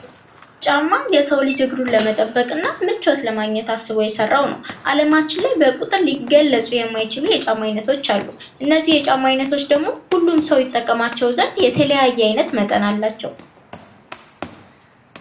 ጫማ የሰው ልጅ እግሩን ለመጠበቅና ምቾት ለማግኘት አስቦ የሰራው ነው። አለማችን ላይ በቁጥር ልግለፁ የማይችሉ የጫማ አይነቶች አሉ ።እነዚህ የጫማ ዐይነቶች ደግሞ ሁሉም ሰው ይጠቀማቸው ዘንድ የተለያየ መጠን አላቸው።